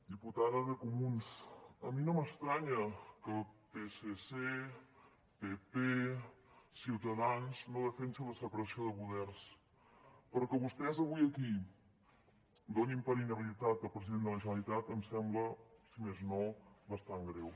diputada de comuns a mi no m’estranya que psc pp ciutadans no defensin la separació de poders però que vostès avui aquí donin per inhabilitat el president de la generalitat em sembla si més no bastant greu